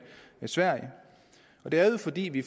sverige og det er jo fordi vi